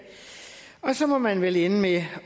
og så må man vel ende med